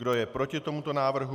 Kdo je proti tomuto návrhu?